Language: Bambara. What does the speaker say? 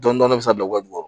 Dɔnni bɛ se ka bila wa wɔɔrɔ